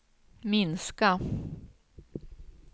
minska